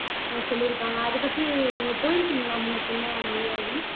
அஹ் சொல்லிருக்காங்க அதை பத்தி நீங்க போயிருக்கிங்களா முன்ன பின்ன மொழியாழினி